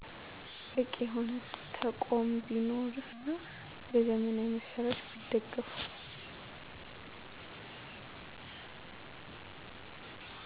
በቂ የሆነ ተቆም ቢኖርና በዘመናዊ መሳሪያወች ቢደገፋ